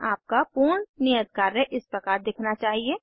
आपका पूर्ण नियत कार्य इस प्रकार दिखना चाहिए